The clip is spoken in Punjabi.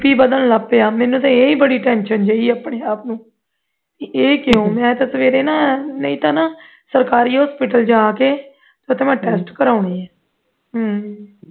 bp ਵਗਣ ਲੱਗ ਪਿਆ ਮਿਲੂ ਤੇ ਇਹ ਹੀ ਬੜੀ tension ਜਾਈ ਪਈ ਐ ਆਪਣੇ ਆਪ ਨੂੰ ਇਹ ਕਿਉਂ ਮੈਂ ਤੇ ਸਵੇਰੇ ਨਾ ਨਹੀਂ ਤੇ ਨਾ ਸਰਕਾਰੀ hospital ਜਾ ਕੇ ਉਥੇ ਮੈ test ਕਰਵਾਉਣੇ ਐਂ ਹੂ